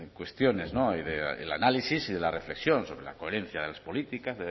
cuestiones y del análisis y de la reflexión sobre la coherencia de las políticas